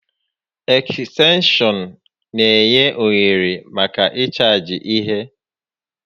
Ekstenshọn n'enye ohere màkà ịchaajị ihe